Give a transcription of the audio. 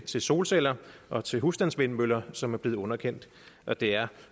solceller og til husstandsvindmøller som er blevet underkendt og det er